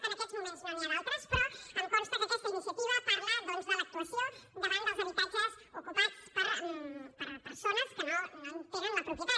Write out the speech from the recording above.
en aquests moments no n’hi ha d’altres però em consta que aquesta iniciativa parla doncs de l’actuació davant dels habitatges ocupats per persones que no en tenen la propietat